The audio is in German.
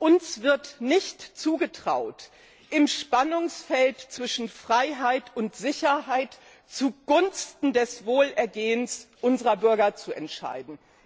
Uns wird nicht zugetraut, im Spannungsfeld zwischen Freiheit und Sicherheit zugunsten des Wohlergehens unserer Bürger zu entscheiden.